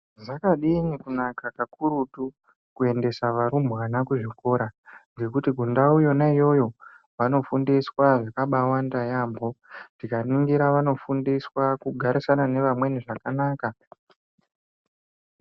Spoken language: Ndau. Zvakadini kunaka kakurutu kuendesa varumbwana kuzvikora ngekuti kundau yona iyoyo vanofundiswa zvakawanda yaamho, tikaningira vanofundiswa kugara nevamweni zvakanaka.